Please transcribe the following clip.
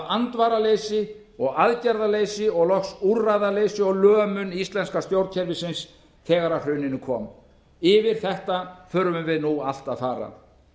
andvaraleysi og aðgerðaleysi og loks úrræðaleysi og lömun íslenska stjórnkerfisins afar að hruninu kom yfir þetta þurfum við nú allt að fara